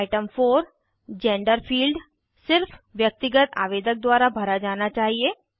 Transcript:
item 4 gender field सिर्फ व्यक्तिगत आवेदक द्वारा भरा जाना चाहिए